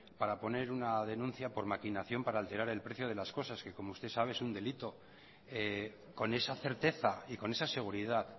para poner una denuncia por maquinación para alterar el precio de las cosas como usted sabe es un delito con esa certeza y con esa seguridad